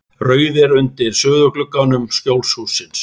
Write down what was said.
Rauðir undir suðurgluggum Skjólshússins.